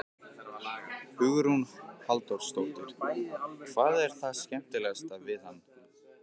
Hugrún Halldórsdóttir: Hvað er það skemmtilegasta við hann?